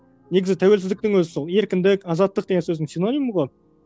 негізі тәуелсіздіктің өзі сол еркіндік азаттық деген сөздің синонимі ғой